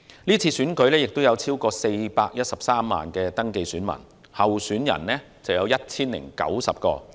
是次選舉有超過413萬名登記選民，候選人有 1,090 名。